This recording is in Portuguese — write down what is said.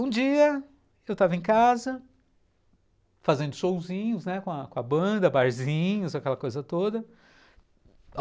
Um dia, eu estava em casa, fazendo showzinhos com a banda, barzinhos, aquela coisa toda.